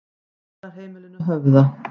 Dvalarheimilinu Höfða